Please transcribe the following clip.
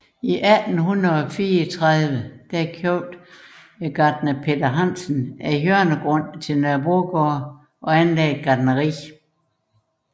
I 1834 købte gartner Peter Hansen hjørnegrunden til Nørrebrogade og anlagde et gartneri